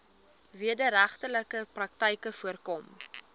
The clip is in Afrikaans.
wederregtelike praktyke voorkom